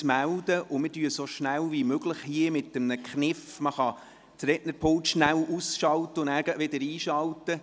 Es gibt einen Kniff, man kann das Rednerpult aus- und gleich wieder einschalten.